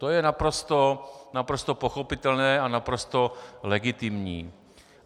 To je naprosto pochopitelné a naprosto legitimní.